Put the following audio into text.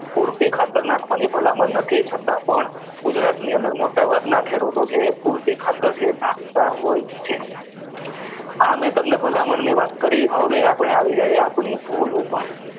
ખાતર નાખવાની ભલામણ નથી છતાં પણ ગુજરાતની અંદર મોટાભાગના ખેડૂતો છે એ પૂરતી ખાતર નાખતા હોય છે આ મેં તમને ભલામણની વાત કરી હવે આપણે આવી જઈએ આપણા ભૂલ ઉપર